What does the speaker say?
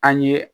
An ye